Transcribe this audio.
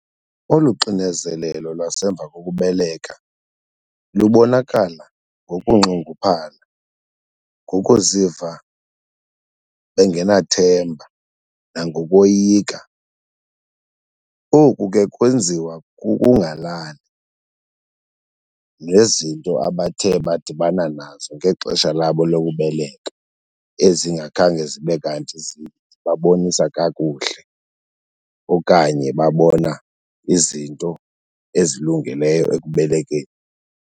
Olu xinezelelo lwasemva kokubeleka lubonakala ngokunxunguphala, ngokuziva bengenathemba nangokoyika. Oku ke kwenziwa kukungalali nezinto abathe badibana nazo ngexesha labo lokubeleka ezingakhange zibe kanti zibabonisa kakuhle okanye babona izinto ezilungeleyo ekubelekeni.